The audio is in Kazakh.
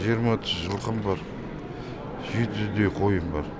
жиырма отыз жылқым бар жеті жүздей қойым бар